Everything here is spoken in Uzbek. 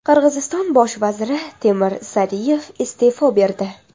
Qirg‘iziston bosh vaziri Temir Sariyev iste’fo berdi.